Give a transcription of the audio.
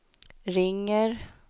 ringer